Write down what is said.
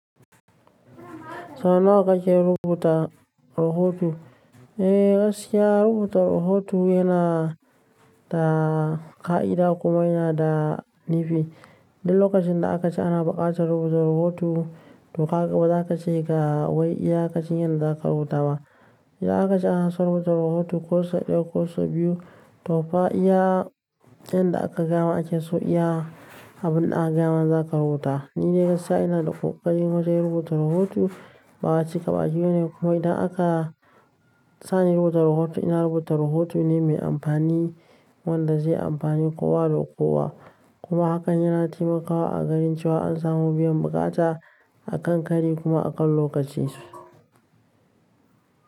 Sau nawa kake rubuta rahoto? Eh gaskiya rubuta rahoto yana da ƙa'ida kuma yana da nifi. Duk lokacin da aka ce ana buƙatar rubuta rahoto, to kaga ba za ka ce ga wai iya kacin yadda za ka rubuta ba. Idan aka ce ana so rubuta rahoto, ko sau ɗaya ko sau biyu, to fa iya yanda aka gaya ma ake so iya abin da aka gaya ma za ka rubuta. Ni dai gaskiya ina da ƙoƙari wajen rubuta rahoto, ba'a ce ƙaba a jiyo ne kuma idan aka sani rubuta rahoto, ina rubuta rahoto ne mai amfani wanda zai amfani kowa da kowa. Kuma hakan yana taimakawa a ganin cewa an samu biyan buƙata akan kari kuma akan lokaci su.